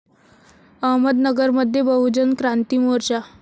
अहमदनगरमध्ये बहुजन क्रांती मोर्चा